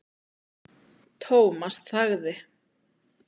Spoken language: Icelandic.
Thomas þagði.